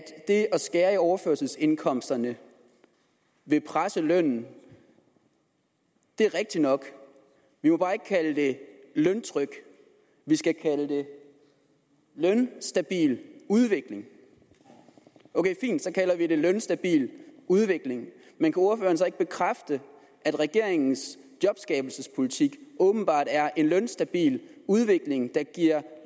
det at skære i overførselsindkomsterne vil presse lønnen det er rigtigt nok vi må bare ikke kalde det løntryk vi skal kalde det en lønstabil udvikling ok fint så kalder vi det en lønstabil udvikling men kunne ordføreren så ikke bekræfte at regeringens jobskabelsespolitik åbenbart er en lønstabil udvikling der giver